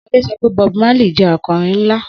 Sade sọ pé Bob Marley jẹ́ akọrin ńlá